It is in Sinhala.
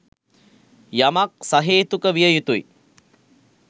යමක් සහේතුක විය යුතුයි.